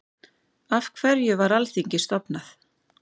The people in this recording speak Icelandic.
Af hverju var Alþingi stofnað?